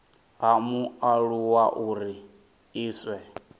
ha mualuwa uri a iswe